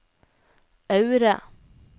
Aure